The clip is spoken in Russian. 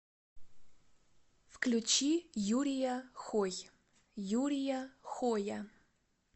включи юрия хой юрия хоя